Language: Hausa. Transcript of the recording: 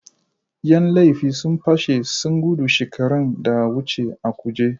Yan laifi sun pashi sun gudu shekaran da wuce a kuje.